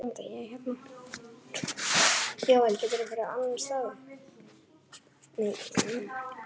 Ég snerti hárið hennar.